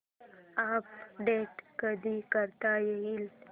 update कधी करता येईल